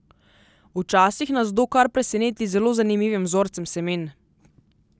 Včasih nas kdo kar preseneti z zelo zanimivim vzorcem semen.